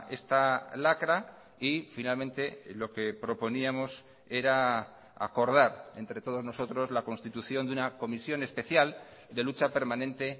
esta lacra y finalmente lo que proponíamos era acordar entre todos nosotros la constitución de una comisión especial de lucha permanente